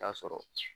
Taa sɔrɔ